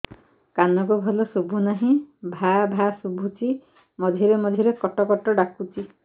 କାନକୁ ଭଲ ଶୁଭୁ ନାହିଁ ଭାଆ ଭାଆ ଶୁଭୁଚି ମଝିରେ ମଝିରେ କଟ କଟ ଡାକୁଚି